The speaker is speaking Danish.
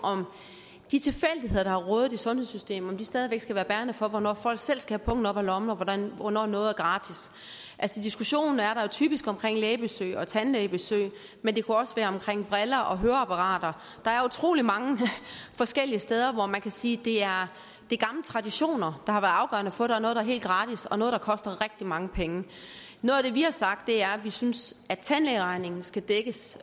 om de tilfældigheder der har rådet i sundhedssystemet stadig væk skal være bærende for hvornår folk selv skal have pungen op af lommen og hvornår noget er gratis altså diskussionen er jo typisk omkring lægebesøg og tandlægebesøg men det kunne også være omkring briller og høreapparater der er utrolig mange forskellige steder hvor man kan sige at det er gamle traditioner der har været afgørende for at der er noget der er helt gratis og noget der koster rigtig mange penge noget af det vi har sagt er at vi synes at tandlægeregningen skal dækkes